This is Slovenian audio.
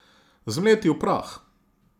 Zmleti v prah.